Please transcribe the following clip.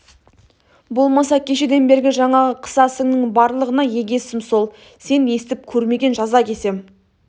болмаса кешеден бергі жаңағы қысасыңның барлығына егесім сол сен естіп көрмеген жаза кесем